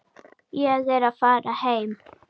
Ég er að fara heim.